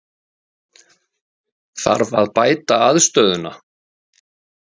Þarf að bæta aðstöðuna?